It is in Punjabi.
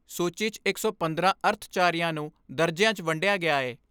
ਸੂਚੀ 'ਚ ਇੱਕ ਸੌ ਪੰਦਰਾਂ ਅਰਥਚਾਰਿਆਂ ਨੂੰ ਦਰਜਿਆਂ 'ਚ ਵੰਡਿਆ ਗਿਆ ਏ।